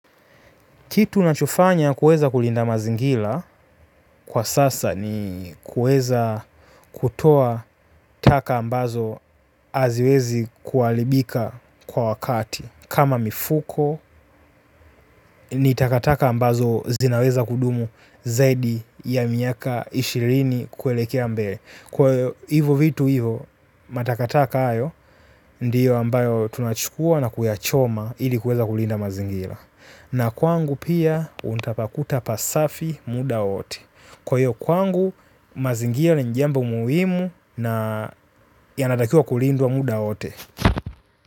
Kitu nachofanya kuweza kulinda mazingila kwa sasa ni kuweza kutoa taka ambazo aziwezi kualibika kwa wakati. Kama mifuko ni takataka ambazo zinaweza kudumu zaidi ya miaka ishirini kuelekea mbele. Kwa hivo vitu hivo matakataka ayo ndiyo ambayo tunachukua na kuyachoma ili kuweza kulinda mazingira. Na kwangu pia, untapakuta pasafi muda wote. Kwa iyo kwangu, mazingira ni njambo muhimu na yanatakiwa kulindwa muda wowote.